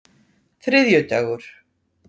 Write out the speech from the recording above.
þriðjudagur